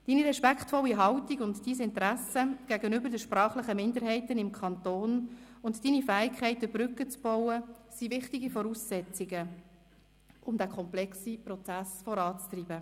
Deine respektvolle Haltung und dein Interesse gegenüber der sprachlichen Minderheit im Kanton und deine Fähigkeit, Brücken zu bauen, sind wichtige Voraussetzungen, um den komplexen Prozess voranzutreiben.